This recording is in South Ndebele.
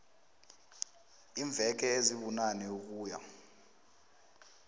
iimveke ezibunane ukuya